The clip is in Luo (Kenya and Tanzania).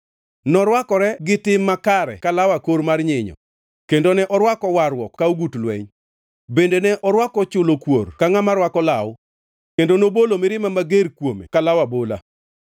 Norwakore tim makare ka law akor mar nyinyo, kendo ne orwako warruok ka ogut lweny; bende ne orwako chulo kuor ka ngʼama rwako law, kendo nobolo mirima mager kuome ka law abola.